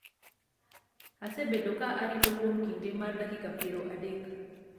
asebedo ka arito kuom kinde mar dakika piero adek